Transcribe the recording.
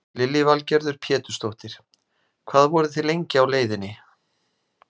Lillý Valgerður Pétursdóttir: Hvað voruð þið lengi á leiðinni?